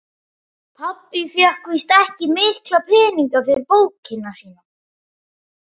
Pabbi fékk víst ekki mikla peninga fyrir bókina sína.